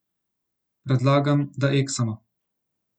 Predlagam, da eksamo!